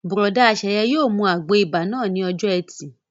Bùrọ̀dá Sẹ̀yẹ yóò mu àgbo ibà náà ní ọjọ́ ẹtì